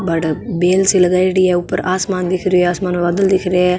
और बेल सी लगाईडी है ऊपर आसमान दिखरो है आसमान में बादल दिखरा है।